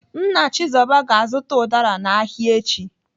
Nna Chizoba ga-azụta ụdara n'ahịa echi.